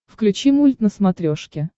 включи мульт на смотрешке